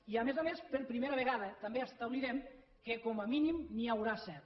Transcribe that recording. i a més a més per primera vegada també establirem que com a mínim n’hi haurà set